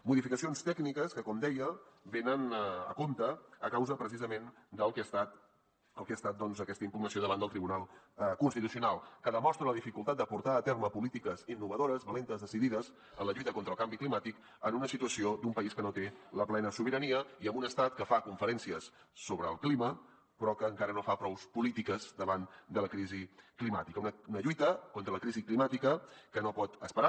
modificacions tècniques que com deia venen a compte a causa precisament del que ha estat doncs aquesta impugnació davant del tribunal constitucional que demostra la dificultat de portar a terme polítiques innovadores valentes decidides en la lluita contra el canvi climàtic en una situació d’un país que no té la plena sobirania i amb un estat que fa conferències sobre el clima però que encara no fa prous polítiques davant de la crisi climàtica una lluita contra la crisi climàtica que no pot esperar